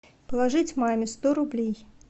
положить маме сто рублей